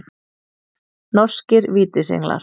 Norskir Vítisenglar.